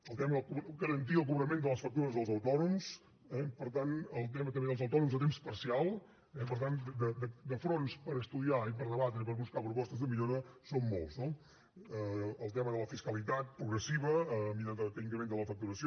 el tema de garantir el cobrament de les factures als autònoms eh per tant el tema també dels autònoms a temps parcial eh per tant fronts per estudiar i per debatre i per buscar propostes de millora són molts no el tema de la fiscalitat progressiva a mesura que incrementen la facturació